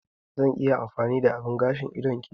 Zan iya amfani da abin gashin idon ki?